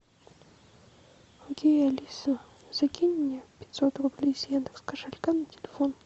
окей алиса закинь мне пятьсот рублей с яндекс кошелька на телефон